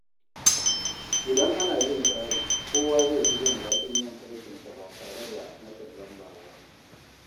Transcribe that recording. Idan ana bin tsari, kowa zai fi jin daɗin yin aikinsa ba tare da matsin lamba ba.